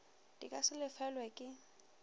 di ka se lefelelwe ke